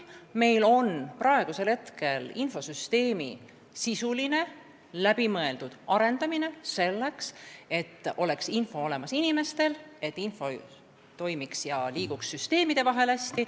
Meil käib infosüsteemi sisuline läbimõeldud arendamine, et info oleks inimestel olemas, et kõik toimiks ja info liiguks süsteemide vahel hästi.